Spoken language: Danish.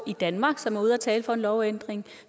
i danmark som er ude at tale for en lovændring